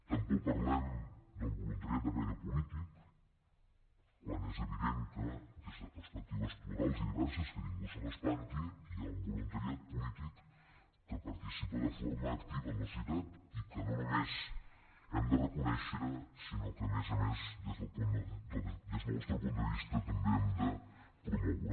tampoc parlem del voluntariat de caire polític quan és evident que des de perspectives plurals i diverses que ningú se m’espanti hi ha un voluntariat polític que participa de forma activa en la societat i que no només hem de reconèixer sinó que a més a més des del nostre punt de vista també hem de promoure